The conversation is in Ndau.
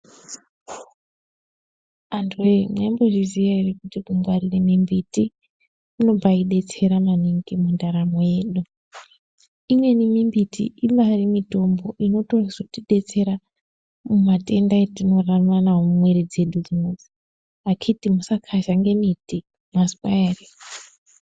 Antu voye maimbozviziya ere kuti kungarire mimbiti kunombaibetsera maningi mundaramo yedu. Imweni mimbiti ibarimitombo inotozotibetsera matenda atinorarama navo mumwiri dzedu dzinoidzi, akhiti musakazhanga miti mazwa ere.